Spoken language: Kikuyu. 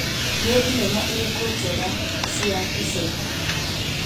nĩ thenema irĩkũ njega cia ica ikuhĩ